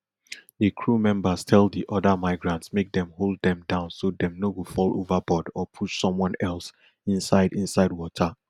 di crew members tell di oda migrants make dem hold dem down so dem no go fall overboard or push someone else inside inside water